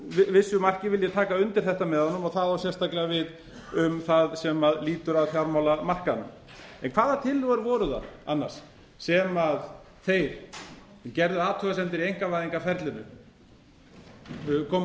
vissu marki vil ég taka undir þetta með honum og það á sérstaklega við um það sem lýtur að fjármálamarkaðnum hvaða tillögur voru það annars sem þeir sem gerðu athugasemdir við í einkavæðingarferlinu komu fram